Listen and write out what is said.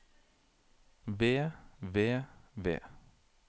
ved ved ved